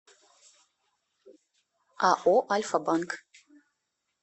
ао альфа банк